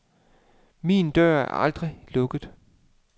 Min dør er aldrig lukket.